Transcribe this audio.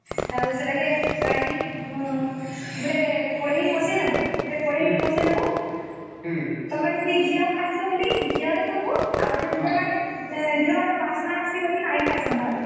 ଆଉ ସେଟାକେ କାଢି କିରି ଗୋଟେ କଢେଇ ଗୋଟେ କଢେଇ ଟେ ବସେଇ ନବ ତମେ ଯଦି ଘିଅ ଖାଉସେ ବଳିକିନି ଘିଅ ରେ କରିବା ଆଉ ଯୋଉମାନେ ଘିଅ ର ବାସ୍ନା ଅସୁଛେ ବୋଲି ନାଇଁ ଖାଉସନ